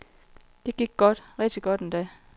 Det gik godt, rigtig godt endda.